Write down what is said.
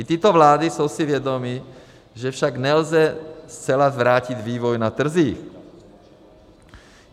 I tyto vlády jsou si vědomy, že však nelze zcela zvrátit vývoj na trzích.